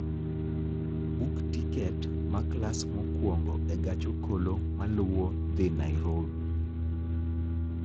Buk tiket ma klas mokwongo e gach okolo maluwo dhi Nairobi